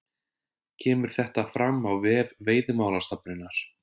Kemur þetta fram á vef Veiðimálastofnunar